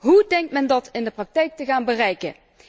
Hoe denkt men dat in de praktijk te gaan bereiken?